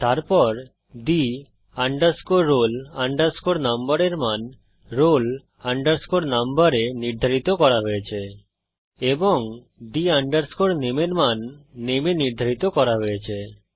তারপর the roll number এর মান roll number এ নির্ধারিত করা হয়েছে এবং the name এর মান নামে এ নির্ধারিত করা হয়েছে